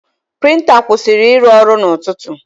Prịnta kwụsịrị ịrụ ọrụ n'ụtụtụ.